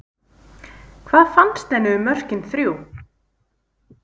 Hvað fannst henni um mörkin þrjú?